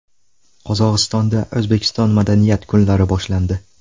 Qozog‘istonda O‘zbekiston madaniyat kunlari boshlandi .